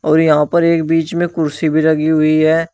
और यहां पर एक बीच में कुर्सी भी लगी हुई है।